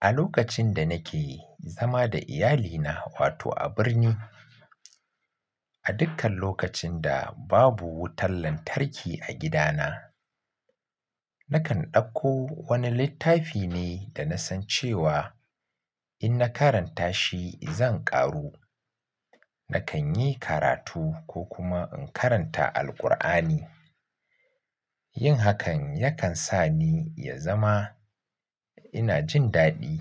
A lokacin da nake zama da iyalina, wato a birni, a dukkan lokacin da babu wutar lantarki a gidana, nakan ɗauko wani littafi ne da na san cewa in na karanta shi zan ƙaru. Nakan yi karatu ko kuma in karanta Alqur'ani. Yin hakan yakan sa ni ya zama ina jin daɗi.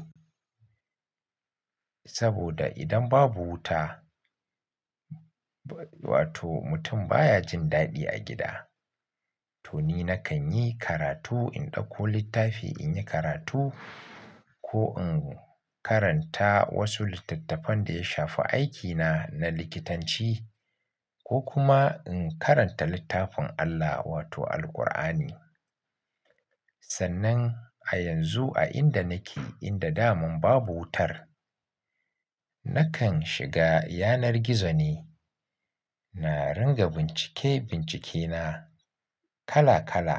Saboda idan babu wuta, wato mutum baya jin daɗi a gida. To ni nakan yi karatu, in ɗauko littafi in yi karatu ko in karanta wasu littattafan da ya shafi aikina na likitanci ko kuma in karanta littafin Allah wato Alqur'ani. Sannan a yanzu a inda nake inda daman babu wutar, nakan shiga yanar gizo ne. Na ringa bincike-bincike na kala-kala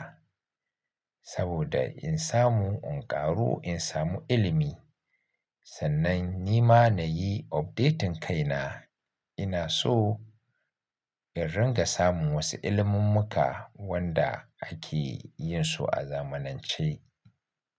saboda in samu in ƙaru, in samu ilimi. Sannan ni ma na yi update din kaina. Ina so in ringa samun wasu ilimummuka wanda ake yin su a zamanance.